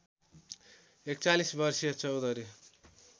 ४१ वर्षीय चौधरी